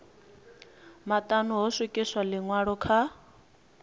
maṱanu ho swikiswa ḽiṅwalo kha